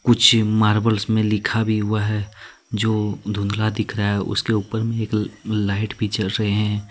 पीछे मार्बल्स में लिखा भी हुआ है जो धुंधला दिख रहा है। उसके ऊपर में एक ल लाइट भी जल रहे हैं ।